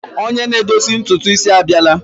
Onye na-edozi ntutu isi a bịala.